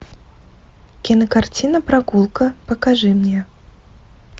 кинокартина прогулка покажи мне